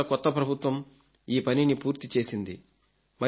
మహారాష్ట్ర కొత్త ప్రభుత్వం ఈ పనిని పూర్తి చేసింది